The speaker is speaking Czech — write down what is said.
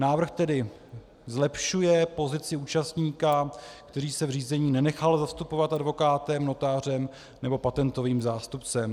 Návrh tedy zlepšuje pozici účastníka, který se v řízení nenechal zastupovat advokátem, notářem nebo patentovým zástupcem.